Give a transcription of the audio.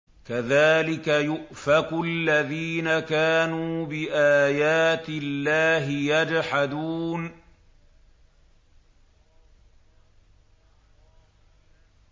كَذَٰلِكَ يُؤْفَكُ الَّذِينَ كَانُوا بِآيَاتِ اللَّهِ يَجْحَدُونَ